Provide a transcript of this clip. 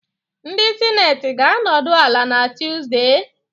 Ndị Sineti ga-anọdụ ala na Tuzdee?